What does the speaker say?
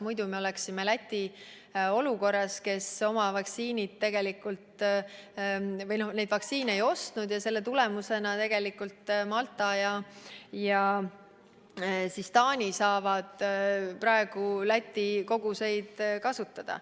Muidu me oleksime Läti olukorras, kes neid vaktsiine ei ostnud, ja selle tulemusena tegelikult Malta ja Taani saavad praegu Läti koguseid kasutada.